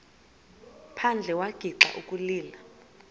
phandle wagixa ukulila